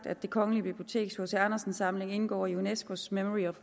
at det kongelige biblioteks hc andersen samling indgår i unescos memory of